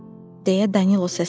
deyə Danilo səsləndi.